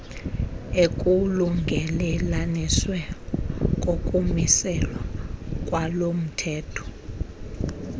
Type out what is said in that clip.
ekulungelelanisweni kokumiselwa kwalomthetho